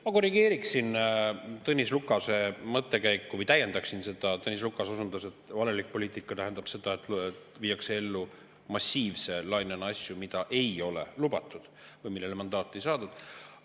Ma korrigeeriksin Tõnis Lukase mõttekäiku või täiendaksin seda, millele Tõnis Lukas osutas, et valelik poliitika tähendab seda, et viiakse massiivse lainena ellu asju, mida ei ole lubatud või mille jaoks mandaati ei ole saadud.